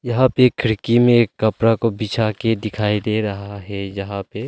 यहां भी खिड़की में एक कपड़ा को बिछा के दिखाई दे रहा है जहां पे--